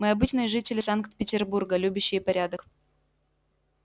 мы обычные жители санкт-петербурга любящие порядок